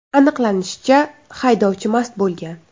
Aniqlanishicha, haydovchi mast bo‘lgan.